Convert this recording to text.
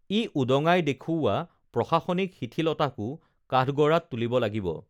ই উদঙাই দেখুওৱা প্ৰশাসনিক শিথিলতাকো কাঠগড়াত তুলিব লাগিব